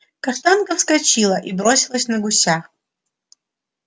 каштанка вскочила и бросилась на гуся